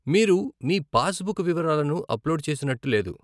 మీరు మీ passbook వివరాలను అప్లోడ్ చేసినట్టు లేదు.